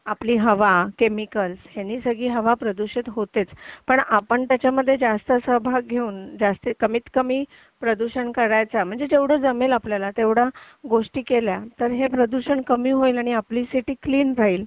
आपली हवा केमिकल्स यांनी सगळी हवा प्रदूषित होतेच पण आपण त्याच्यामध्ये जास्त सहभाग घेऊन कमीत कमी प्रदूषण करायचा म्हणजे जेवढे जमेल आपल्याला तेवढं तर हे प्रदूषण कमी होईल आणि सिटी क्लीन राहील